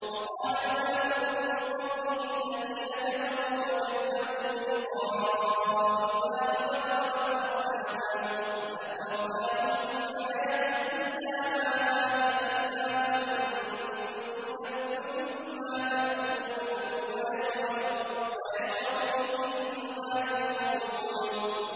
وَقَالَ الْمَلَأُ مِن قَوْمِهِ الَّذِينَ كَفَرُوا وَكَذَّبُوا بِلِقَاءِ الْآخِرَةِ وَأَتْرَفْنَاهُمْ فِي الْحَيَاةِ الدُّنْيَا مَا هَٰذَا إِلَّا بَشَرٌ مِّثْلُكُمْ يَأْكُلُ مِمَّا تَأْكُلُونَ مِنْهُ وَيَشْرَبُ مِمَّا تَشْرَبُونَ